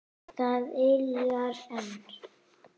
Það yljar enn.